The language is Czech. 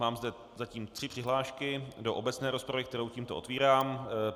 Mám zde zatím tři přihlášky do obecné rozpravy, kterou tímto otevírám.